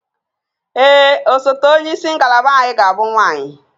Ee, osote onye isi ngalaba anyị ga-abụ nwanyị